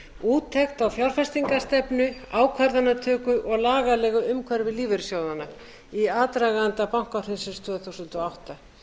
úttekt á fjárfestingastenfu ákvarðanatöku og lagalegu umhverfi lífeyrissjóðanna í aðdraganda bankahrunsins tvö þúsund og átta